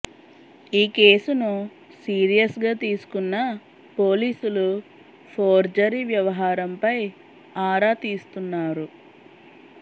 ఈ కేసును సీరియస్గా తీసుకున్న పోలీసులు ఫోర్జరీ వ్యవహారంపై ఆరా తీస్తున్నారు